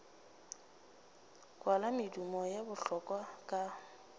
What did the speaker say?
kwala medumo ya bohlola ka